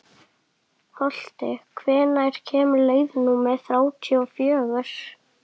Holti, hvenær kemur leið númer þrjátíu og fjögur?